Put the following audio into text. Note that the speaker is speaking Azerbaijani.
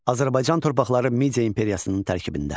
Azərbaycan torpaqları Media imperiyasının tərkibində.